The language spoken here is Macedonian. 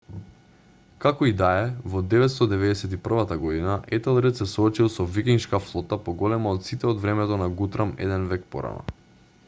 како и да е во 991 г етелред се соочил со викингшка флота поголема од сите од времето на гутрам еден век порано